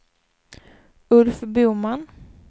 Ulf Boman